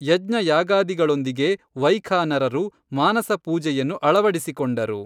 ಯಜ್ಞಯಾಗಾದಿಗಳೊಂದಿಗೆ ವೈಖಾನರರು ಮಾನಸ ಪೂಜೆಯನ್ನು ಅಳವಡಿಸಿಕೊಂಡರು.